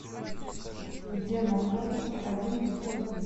где находится один плюс один